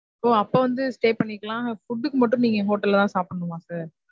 ஓ அப்ப வந்து stay பண்ணிக்கலாம் food கு மட்டும் நீங்க hotel ல தான் சாப்பிடணுமா sir.